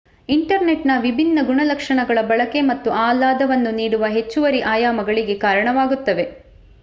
ಇಂಟರ್ನೆಟ್‌ನ ವಿಭಿನ್ನ ಗುಣಲಕ್ಷಣಗಳ ಬಳಕೆ ಮತ್ತು ಆಹ್ಲಾದವನ್ನು ನೀಡುವ ಹೆಚ್ಚುವರಿ ಆಯಾಮಗಳಿಗೆ ಕಾರಣವಾಗುತ್ತವೆ